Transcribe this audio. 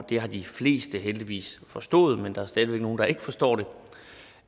det har de fleste heldigvis forstået men der er stadig væk nogle der ikke forstår